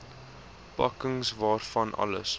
pakking waarvan alles